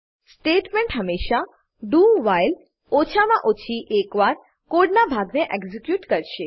statement હમેશા doવ્હાઇલ ઓછામાં ઓછી એક વાર કોડના ભાગ ને એક્ઝીક્યુટ કરશે